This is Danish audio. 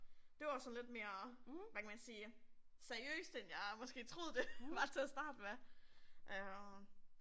Det var jo sådan lidt mere, hvad kan man sige, seriøst end jeg måske troede det var til at starte med øh